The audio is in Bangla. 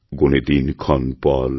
গোণে দিনক্ষণপল